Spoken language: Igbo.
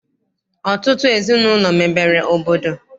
Ọtụtụ ezinaụlọ mebere obodo.